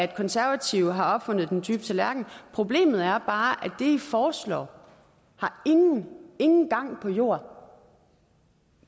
konservative har opfundet den dybe tallerken problemet er bare at det i foreslår ingen ingen gang har på jorden